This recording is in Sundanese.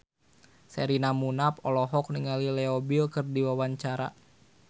Sherina Munaf olohok ningali Leo Bill keur diwawancara